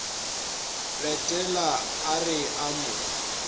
retela a re a mo